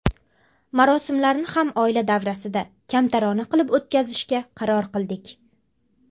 Marosimlarni ham oila davrasida, kamtarona qilib o‘tkazishga qaror qildik.